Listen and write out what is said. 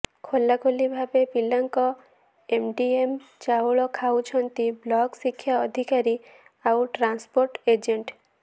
ଖୋଲାଖୋଲି ଭାବେ ପିଲାଙ୍କ ଏମଡିଏମ ଚାଉଳ ଖାଇଯାଉଛନ୍ତି ବ୍ଲକ ଶିକ୍ଷା ଅଧିକାରୀ ଆଉ ଟ୍ରାନ୍ସପୋର୍ଟ ଏଜେଣ୍ଟ